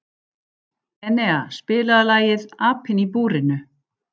Enea, spilaðu lagið „Apinn í búrinu“.